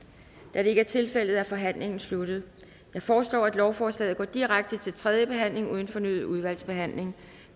da det ikke er tilfældet er forhandlingen er sluttet jeg foreslår at lovforslaget går direkte til tredje behandling uden fornyet udvalgsbehandling